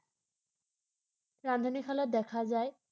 ৰান্ধনিশালত দেখা যায় ৷